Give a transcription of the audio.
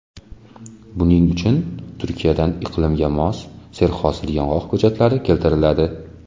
Buning uchun Turkiyadan iqlimga mos, serhosil yong‘oq ko‘chatlari keltiriladi.